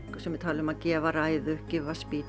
sumir tala um að gefa ræðu give a